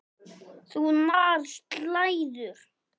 Þunnar slæður.